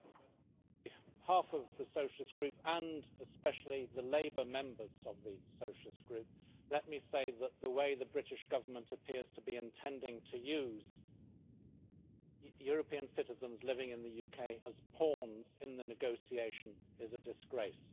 Madam President, on behalf of the Socialist Group and especially the Labour members of the Socialist Group, let me say that the way the British Government appears to be intending to use European citizens living in the UK as pawns in the negotiation is a disgrace.